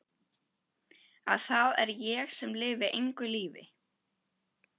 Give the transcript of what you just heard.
Að það er ég sem lifi engu lífi.